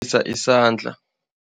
Isandla.